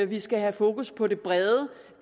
vi skal have fokus på det brede